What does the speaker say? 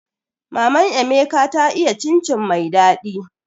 Maman emeka ta iya cin cin mai daɗi